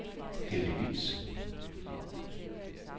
heldigvis